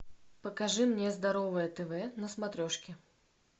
покажи мне здоровое тв на смотрешке